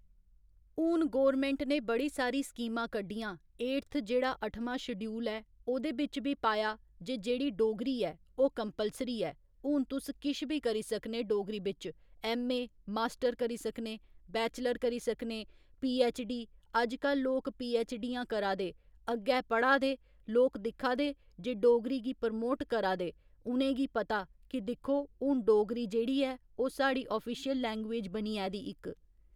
हुन गौरमैंट ने बड़ी सारी स्कीमां कड्ढियां एडथ जेह्ड़ा अठमां शडूयल ऐ ओह्दे बिच्च बी पाया जे जेह्ड़ी डोगरी ऐ ओह् कम्पलसरी ऐ हून तुस किश बी करी सकने डोगरी बिच्च ऐम्म.ए. मास्टर करी सकने बैचलर करी सकने पी.ऐच्च.डी अज्ज लोक पी.ऐच्च.डियां करा दे अग्गै पढ़ाऽ दे लोक दिक्खा दे जे डोगरी गी प्रमोट करा दे उ'नें गी पता कि दिक्खो हून डोगरी जेह्ड़ी ऐ ओह् साढ़ी आफिशयल लैंग्यूज बनियै दी इक